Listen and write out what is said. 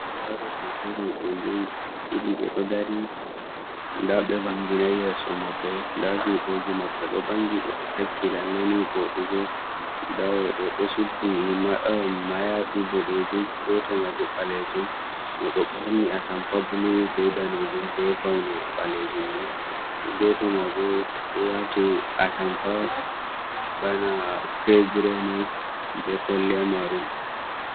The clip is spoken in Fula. Ndaɗo hotor roɓe ɗiɗi ɓeɗoo dari nda ɓe vanginai yeso maɓɓe, nda juɗeji maɓɓe ɗo vangi ɓeɗo takki lalle ni voɗugo. Nda oɗo ɗo suddi mayafi boɗejum goto mai bo ɓalejum, mo ɗo ɓorni atampa blu be danejun be paune ɓalejum, ni goto mai bo ɗo wati atampa bana cregre ni be kolliya marun.